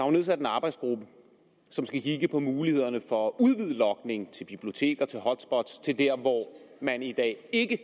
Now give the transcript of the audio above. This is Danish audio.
er nedsat en arbejdsgruppe som skulle kigge på mulighederne for at udvide logningen til biblioteker til hotspots til der hvor man i dag ikke